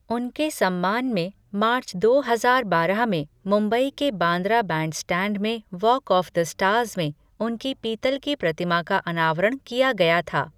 उनके सम्मान में मार्च दो हजार बारह में मुंबई के बांद्रा बैंडस्टैंड में वॉक ऑफ द स्टार्स में उनकी पीतल की प्रतिमा का अनावरण किया गया था।